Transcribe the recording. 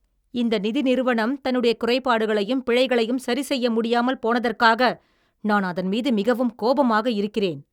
இந்த நிதி நிறுவனம் தன்னுடைய குறைபாடுகளையும் பிழைகளையும் சரி செய்ய முடியாமல் போனதற்காக நான் அதன்மீது மிகவும் கோபமாக இருக்கிறேன்.